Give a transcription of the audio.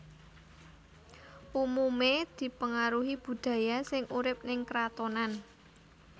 Umumé dipengaruhi budaya sing urip ning kratonan